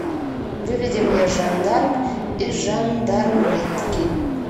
выведи мне жандарм и жандарметки